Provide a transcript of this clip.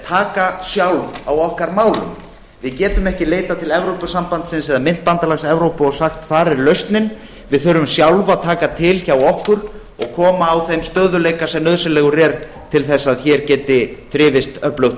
taka sjálf á okkar málum við getum ekki leitað til evrópusambandsins eða myntbandalags evrópu og sagt þar er lausnin við þurfum sjálf að taka til hjá okkur og koma á þeim stöðugleika sem nauðsynlegur er til þess að hér geti þrifist öflugt